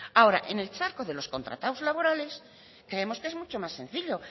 ahora en el charco de los contratados laborales creemos que es mucho más sencillo